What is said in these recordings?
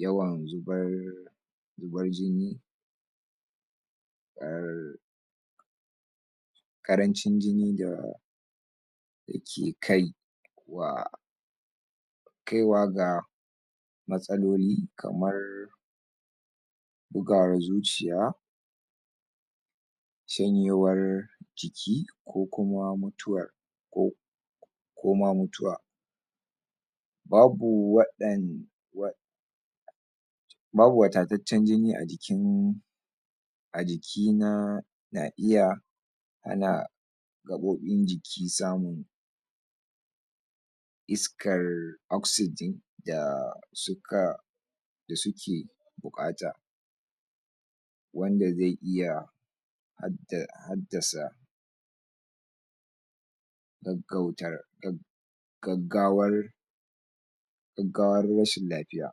yawan zubar zabar jini um karancin jini da yake kai wa kaiwa ga matsaloli kamar bugawar zuciya shanyewar jiki ko kuma mutuwar ko koma mutuwa babu waɗan wa um babu watataccen jini ajikin ajikina na iya hana gaɓoɓin jiki samun iskar oxygen da suka da suke bukata wanda ze iya haddasa gaggautar gaggawar gaggawar rashin lafiya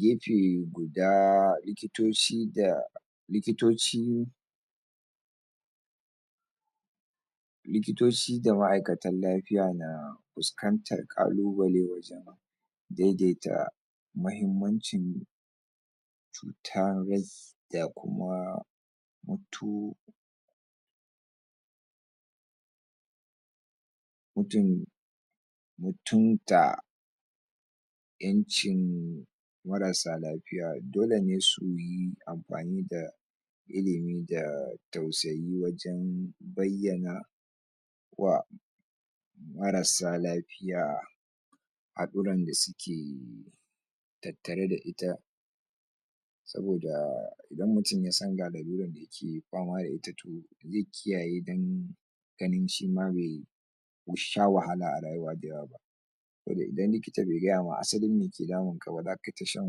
gefe guda likitoci da likitoci likitoci da ma'ikatan lafiya na fuskantar ƙalubale wajan daidaita mahimmancin cuta da kuma mutu mutun mutunta Ƴancin marasa lafiya dole ne suyi anfani da ilimi da tausayi wajan bayyana wa marasa lafiya haɗuran da suke tattare da ita saboda idan mutun ya san ga laluran dayake fama da ita toh ze kiyaye dan ganin shima bai bai sha wahala a rayuwa da yawa ba saboda idan likita bai gaya ma asalin me ke damun kaba da kaita shan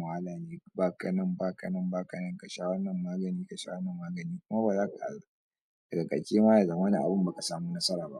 wahala ne ne baka nan, baka nan, baka nan sha wanan magani ka sha wanan magani kuma um daga kacema yazama abun baka samu nasara ba